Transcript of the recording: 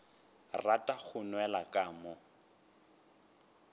rata go nwela ka mo